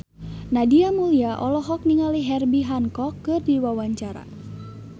Nadia Mulya olohok ningali Herbie Hancock keur diwawancara